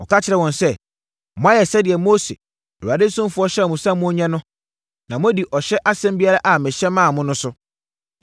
Ɔka kyerɛɛ wɔn sɛ, “Moayɛ sɛdeɛ Mose, Awurade ɔsomfoɔ hyɛɛ mo sɛ monyɛ no na moadi ɔhyɛ asɛm biara a mehyɛ maa mo no so.